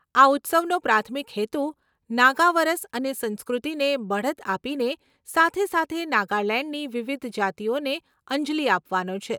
આ ઉત્સવનો પ્રાથમિક હેતુ નાગા વરસ અને સંસ્કૃતિને બઢત આપીને સાથે સાથે નાગાલેંડની વિવિધ જાતિઓને અંજલિ આપવાનો છે.